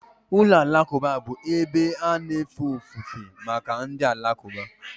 Ụlọ alakụba bụ ebe a na-efe ofufe maka ndị Alakụba